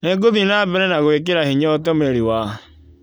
Nĩngũthie na mbere na gwĩkĩra hinya ũtũmĩri wa